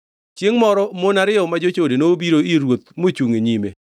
Chiengʼ moro mon ariyo ma jochode nobiro ir ruoth mochungʼ e nyime.